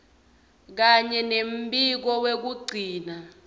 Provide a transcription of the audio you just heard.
kanye nembiko wekugcina